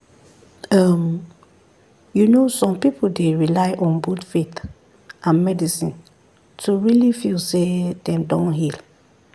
um you know some people dey rely on both faith and medicine to really feel say dem don heal.